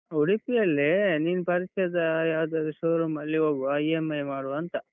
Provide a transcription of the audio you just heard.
ಉಡುಪಿ ಅಲ್ಲೇ, ನಿನ್ ಪರಿಚಯದ ಯಾವದಾದ್ರೂ show room ಅಲ್ಲಿ ಹೋಗುವ, EMI ಮಾಡುವಾಂತ.